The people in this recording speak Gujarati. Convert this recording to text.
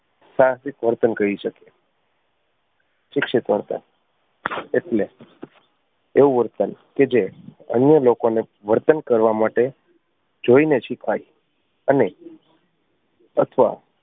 સાહસિક વર્તન કહી શકીએ શિક્ષિત વર્તન એટલે એવું વર્તન કે જે અન્ય લોકો ને વર્તન કરવા માટે જોઈ ને શિખાય અને અથવા